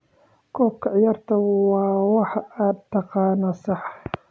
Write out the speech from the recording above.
Qoob ka ciyaarka waa waxa aad taqaan, sax?